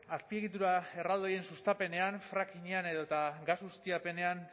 azpiegitura erraldoien sustapenean frackingean edota gas ustiapenean